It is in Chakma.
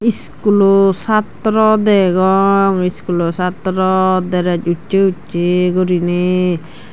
iskulo chatrow degong iskulo chatrow drej ussey ussey guriney.